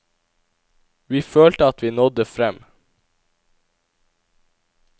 Vi følte at vi nådde frem.